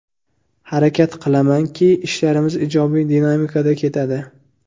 Harakat qilamanki, ishlarimiz ijobiy dinamikada ketadi.